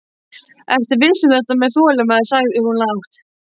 Ertu viss um þetta með þolinmæðina, sagði hún lágt.